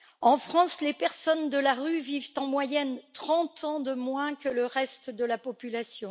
En France, les personnes de la rue vivent en moyenne 30 ans de moins que le reste de la population.